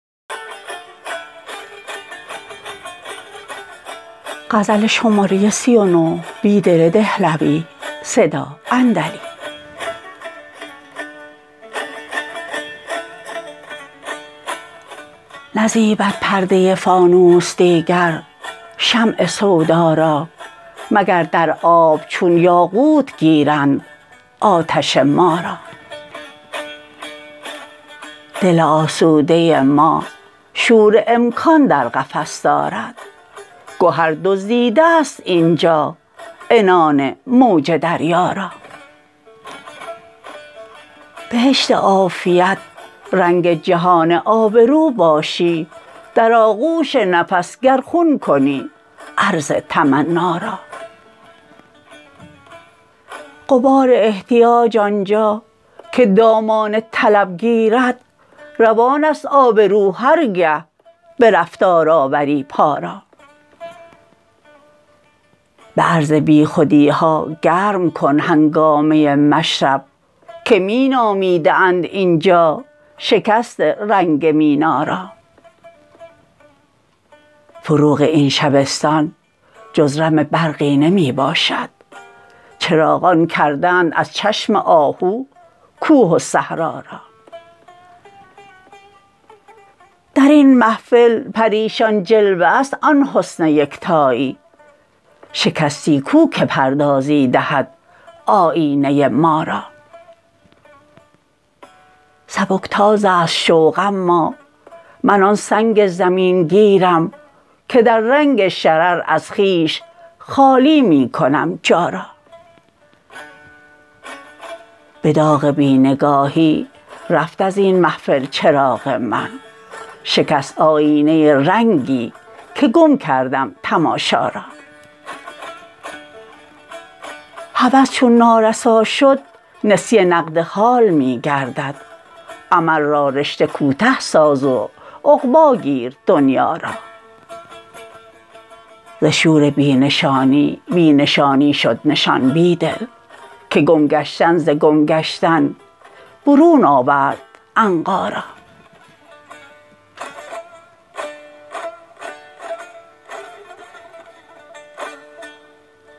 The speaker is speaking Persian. نزیبد پرده فانوس دیگر شمع سودا را مگر در آب چون یاقوت گیرند آتش ما را دل آسوده ما شور امکان در قفس دارد گهر دزدیده است اینجا عنان موج دریا را بهشت عافیت رنگ جهان آبرو باشی در آغوش نفس گر خون کنی عرض تمنا را غبار احتیاج آنجا که دامان طلب گیرد روان است آبرو هرگه به رفتار آوری پا را به عرض بیخودی ها گرم کن هنگامه مشرب که می نامیده اند اینجا شکست رنگ مینا را فروغ این شبستان جز رم برقی نمی باشد چراغان کرده اند از چشم آهو کوه و صحرا را در این محفل پریشان جلوه است آن حسن یکتایی شکستی کو که پردازی دهد آیینه ما را سبک تاز است شوق اما من آن سنگ زمین گیرم که در رنگ شرر از خویش خالی می کنم جا را به داغ بی نگاهی رفت ازین محفل چراغ من شکست آیینه رنگی که گم کردم تماشا را هوس چون نارسا شد نسیه نقد حال می گردد امل را رشته کوته ساز و عقبا گیر دنیا را ز شور بی نشانی بی نشانی شد نشان بیدل که گم گشتن ز گم گشتن برون آورد عنقا را